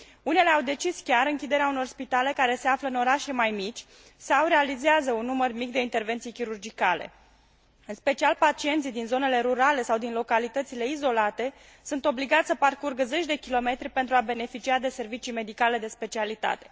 Unele au decis chiar închiderea unor spitale care se află în orașe mai mici sau realizează un număr mic de intervenții chirurgicale. În special pacienții din zonele rurale sau din localitățile izolate sunt obligați să parcurgă zeci de kilometri pentru a beneficia de servicii medicale de specialitate.